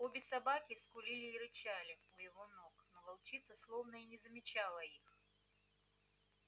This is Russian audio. обе собаки скулили и рычали у его ног но волчица словно и не замечала их